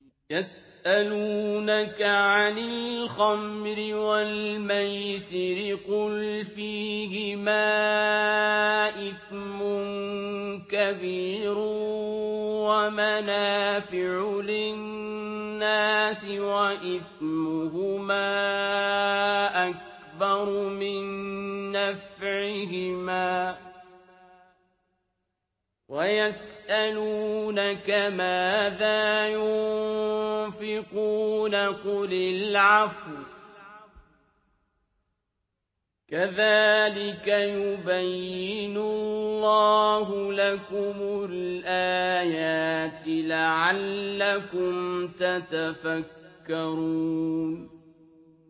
۞ يَسْأَلُونَكَ عَنِ الْخَمْرِ وَالْمَيْسِرِ ۖ قُلْ فِيهِمَا إِثْمٌ كَبِيرٌ وَمَنَافِعُ لِلنَّاسِ وَإِثْمُهُمَا أَكْبَرُ مِن نَّفْعِهِمَا ۗ وَيَسْأَلُونَكَ مَاذَا يُنفِقُونَ قُلِ الْعَفْوَ ۗ كَذَٰلِكَ يُبَيِّنُ اللَّهُ لَكُمُ الْآيَاتِ لَعَلَّكُمْ تَتَفَكَّرُونَ